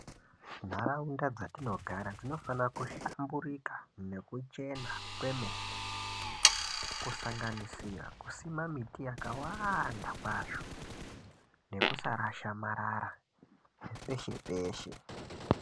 Nharaunda dzatinogara dzinofana kuhlamburika nekuchena kwemene kusanganisira kusima miti yakawanda kwazvo nekusarasha marara peshe peshe .